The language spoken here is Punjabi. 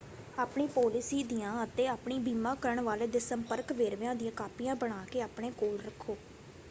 ਆਪਣੀ ਪਾਲਿਸੀ ਦੀਆਂ ਅਤੇ ਆਪਣੇ ਬੀਮਾ ਕਰਨ ਵਾਲੇ ਦੇ ਸੰਪਰਕ ਵੇਰਵਿਆਂ ਦੀਆਂ ਕਾਪੀਆਂ ਬਣਾ ਕੇ ਆਪਣੇ ਕੋਲ ਰੱਖੋ।